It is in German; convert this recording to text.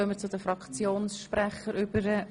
Somit gehen wir zu den Fraktionssprechern über.